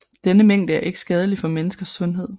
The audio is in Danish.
Denne mængde er ikke skadelig for menneskers sundhed